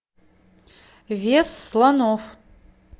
вес слонов